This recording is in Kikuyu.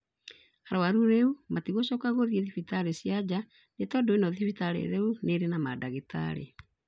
Arwaru rĩu matigocoka gũthiĩ thibitarĩ cia nja nĩ tondũ ĩno thibitarĩ rĩu nĩrĩ na madagĩtarĩ